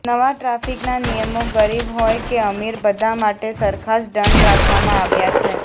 નવા ટ્રાફિકનાં નિયમો ગરીબ હોય કે અમીર બધા માટે સરખા જ દંડ રાખવામાં આવ્યા છે